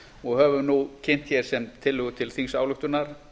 og höfum nú kynnt hér sem tillögu til þingsályktunar